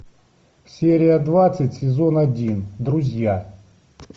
серия двадцать сезон один друзья